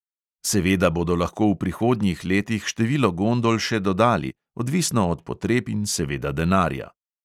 Seveda bodo lahko v prihodnjih letih število gondol še dodali, odvisno od potreb in seveda denarja.